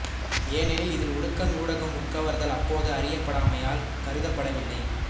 ஏனெனில் இதில் உடுக்கண ஊடக உட்கவர்தல் அப்போது அறயப்படாமையல் கருதப்படவில்லை